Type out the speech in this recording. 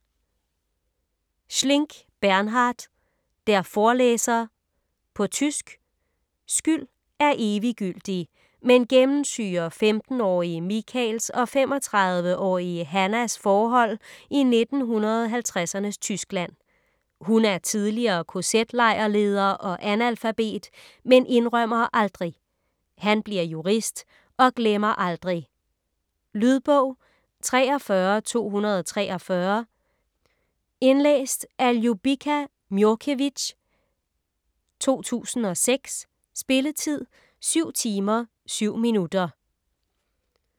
Schlink, Bernhard: Der Vorleser På tysk. Skyld er eviggyldig, men gennemsyrer 15-årige Michaels og 35-årige Hannas forhold i 1950'ernes Tyskland. Hun er tidligere kz-lejrleder og analfabet, men indrømmer aldrig. Han bliver jurist og glemmer aldrig. Lydbog 43243 Indlæst af Ljubica Miocevic, 2006. Spilletid: 7 timer, 7 minutter.